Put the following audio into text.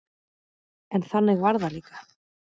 En þannig var það líka.